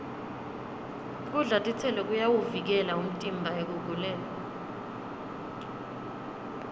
kudla titselo kuyawuvikela umtimba ekuguleni